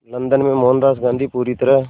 London में मोहनदास गांधी पूरी तरह